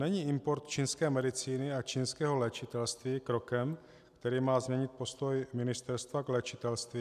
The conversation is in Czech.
Není import čínské medicíny a čínského léčitelství krokem, který má změnit postoj ministerstva k léčitelství?